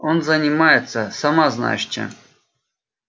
он занимается сама знаешь чем